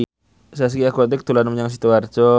Zaskia Gotik dolan menyang Sidoarjo